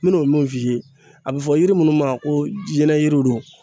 N bin'o mun f'i ye a bi fɔ yiri minnu ma ko jinɛyiriw don.